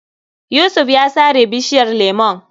Yusuf ya sare bishiyar lemon.